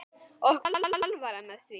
Okkur var alvara með því.